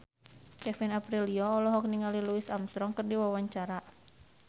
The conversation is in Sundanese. Kevin Aprilio olohok ningali Louis Armstrong keur diwawancara